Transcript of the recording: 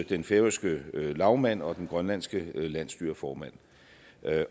den færøske lagmand og den grønlandske landsstyreformand